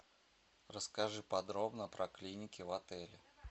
расскажи подробно про клиники в отеле